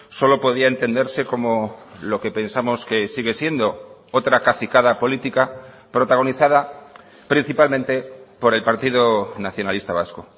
solo podía entenderse como lo que pensamos que sigue siendo otra cacicada política protagonizada principalmente por el partido nacionalista vasco